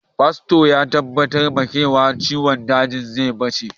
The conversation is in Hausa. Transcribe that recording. Fasto ya tabbatar wa Gres cewa ciwon dajin zai ɓace.